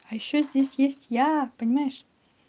а ещё здесь есть я понимаешь